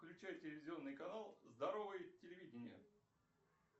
включай телевизионный канал здоровое телевидение